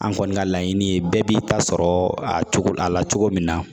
An kɔni ka laɲini ye bɛɛ b'i ta sɔrɔ a cogo a la cogo min na